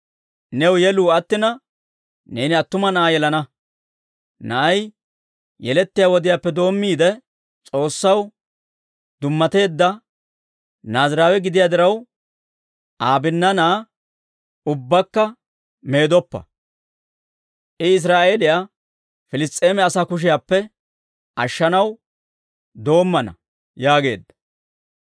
New yeluu attina, neeni attuma na'aa yelana. Na'ay yelettiyaa wodiyaappe doommiide, S'oossaw dummateedda Naaziraawe gidiyaa diraw, Aa binnaanaa ubbakka meedoppa. I Israa'eeliyaa Piliss's'eema asaa kushiyaappe ashshanaw doommana» yaageedda.